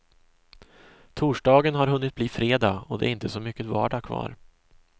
Torsdagen har hunnit bli fredag och det är inte så mycket vardag kvar.